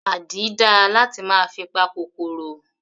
Àdí dáa láti máa fi pa kòkòrò.